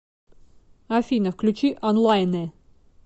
афина включи онлайнэ